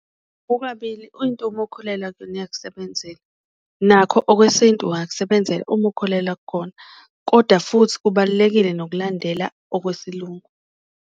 Kukabili into uma ukholelwa kuyona iyakusebenzela nakho okwesintu kungakusebenzela uma ukholelwa kukona, kodwa futhi kubalulekile nokulandela okwesiLungu.